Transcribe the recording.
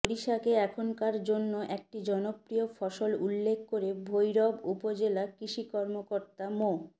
সরিষাকে এখানকার জন্য একটি জনপ্রিয় ফসল উল্লেখ করে ভৈরব উপজেলা কৃষি কর্মকর্তা মো